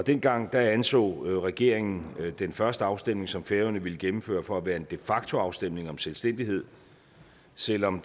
dengang anså regeringen den første afstemning som færøerne ville gennemføre for at være en de facto afstemning om selvstændighed selv om